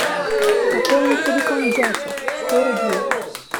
пополни телефон дяди сто рублей